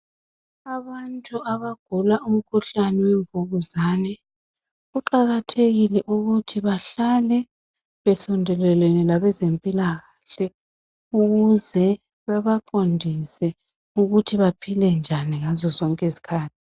Abantu abagula umkhuhlane wemvukuzane kuqakathekile ukuthi bahlale besondelelene labezempilakahle ukuze bebaqondise ukuthi baphile njani ngazo zonke izikhathi.